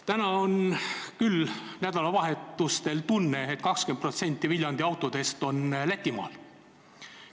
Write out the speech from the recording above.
Nüüd on nädalavahetustel tunne, et 20% Viljandi autodest on Lätimaal.